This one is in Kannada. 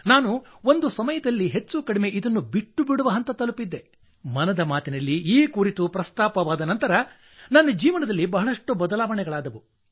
ನಾನು ಒಂದು ಸಮಯದಲ್ಲಿ ಹೆಚ್ಚುಕಡಿಮೆ ಇದನ್ನು ಬಿಟ್ಟುಬಿಡುವ ಹಂತ ತಲುಪಿದ್ದೆ ಮನದ ಮಾತಿನಲ್ಲಿ ಈ ಕುರಿತು ಪ್ರಸ್ತಾಪವಾದ ನಂತರ ನನ್ನ ಜೀವನದಲ್ಲಿ ಬಹಳಷ್ಟು ಬದಲಾವಣೆಗಳಾದವು